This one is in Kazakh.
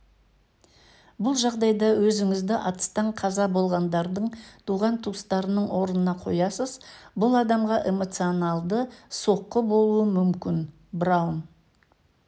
бұл жағдайда өзіңізді атыстан қаза болғандардың туған-туыстарының орнына қоясыз бұл адамға эмоционалды соққы болуы мүмкін браун